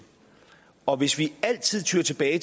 og hvis vi altid tyer til det